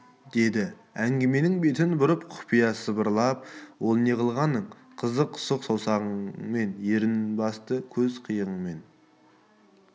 деді әңгіменің бетін бұрып құпия сыбырлап ол неғылған қызық сұқ саусағымен ернін басты көз қиығымен